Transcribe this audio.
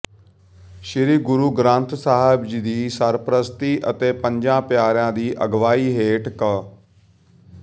ਸ੍ਰੀ ਗੁਰੂ ਗ੍ੰਥ ਸਾਹਿਬ ਜੀ ਦੀ ਸਰਪ੍ਰਸਤੀ ਅਤੇ ਪੰਜਾ ਪਿਆਰਿਆਂ ਦੀ ਅਗਵਾਈ ਹੇਠ ਕ